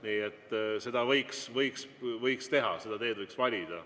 Nii et seda võiks teha, selle tee võiks valida.